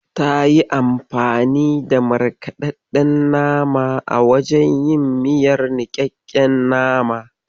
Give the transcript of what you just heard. Tayi anfani da markaɗaɗɗen nama a wajen yin miyar niƙaƙken nama.